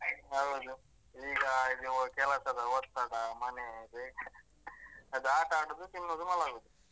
ಹೌದು ಈಗ ಇವು ಕೆಲಸದ ಒತ್ತಡ, ಮನೆ ಬೇಕಾ? ಅದ್ ಆಟಾಡುದು, ತಿನ್ನುದು, ಮಲಗುದು.